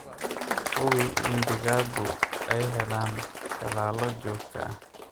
Hubi in digaaggu ay helaan tallaalo joogto ah.